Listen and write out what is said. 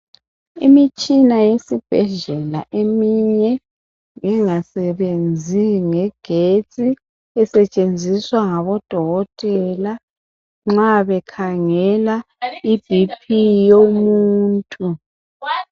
Imitshina yesibhedlela eminye engasebenzi ngegetsi esetshenziswa ngabodokotela nxa bekhangela i"BP" yomuntu.